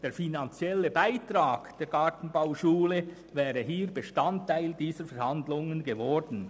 Der finanzielle Beitrag der Gartenbauschule wäre Bestandteil dieser Verhandlungen geworden.